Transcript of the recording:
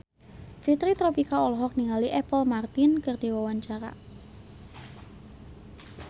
Fitri Tropika olohok ningali Apple Martin keur diwawancara